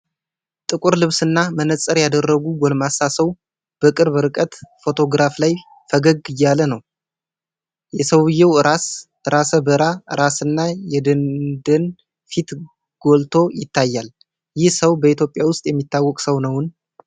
ጥቁር ልብስና መነፅር ያደረጉ ጎልማሳ ሰው በቅርብ ርቀት ፎቶግራፍ ላይ ፈገግ እያለ ነው። የሰውየው ራሰ በራ ራስና የደንደን ፊት ጎልቶ ይታያል። ይህ ሰው በኢትዮጵያ ውስጥ የሚታወቅ ሰው ነውን?